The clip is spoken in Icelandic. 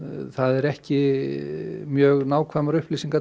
það eru ekki mjög nákvæmar upplýsingar